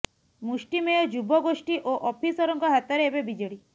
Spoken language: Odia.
ମୁଷ୍ଟିମେୟ ଯୁବ ଗୋଷ୍ଠୀ ଓ ଅଫିସରଙ୍କ ହାତରେ ଏବେ ବିଜେଡି